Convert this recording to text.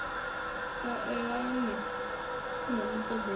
sa elane na muṱoḓo wa